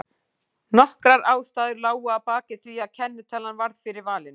Nokkrar ástæður lágu að baki því að kennitalan varð fyrir valinu.